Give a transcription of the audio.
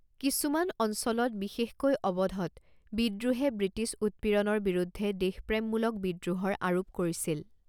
কিছুমান অঞ্চলত, বিশেষকৈ অৱধত, বিদ্ৰোহে ব্ৰিটিছ উৎপীড়নৰ বিৰুদ্ধে দেশপ্ৰেমমূলক বিদ্ৰোহৰ আৰোপ কৰিছিল।